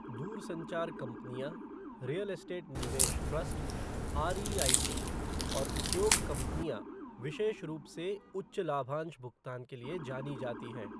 दूरसंचार कंपनियां, real estate निवेश ट्रस्ट, आरईआईटी, और उपयोग कंपनियां, विशेष रूप से, उच्च लाभांश भुगतान के लिए जानी जाती हैं।